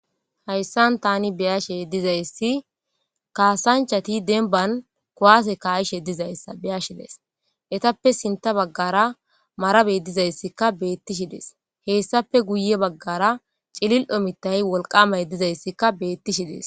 hayssan tani beyashe dizayssi kaasanchati denban kowase kaayishe dizayssa beyashides etappe sinta baggara marabey dizayssikka beettishidees heessape guye baggara cilil7omitayi wolqamay dizayssikka beettishidees